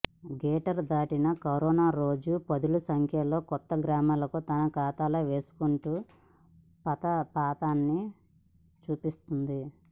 greater దాటిన corona రోజు పదుల సంఖ్యలో కొత్త గ్రామాలను తన ఖాతాలో వేసుకుంటూ ప్రతాపాన్ని చూపిస్తున్నది